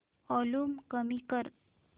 volume कमी कर